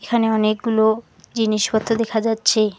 এখানে অনেকগুলো জিনিসপত্র দেখা যাচ্ছে।